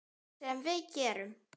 Sem við gerum.